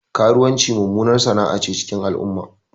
Karuwanci mummunar sana'ace a cikin al'umma